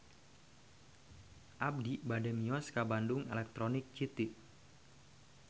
Abi bade mios ka Bandung Electronic City